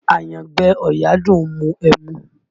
Àyangbẹ ọ̀yà dùn ún mu ẹmu